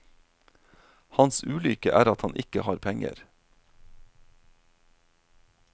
Hans ulykke er at han ikke har penger.